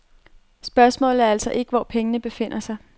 Spørgsmålet er altså ikke, hvor pengene befinder sig.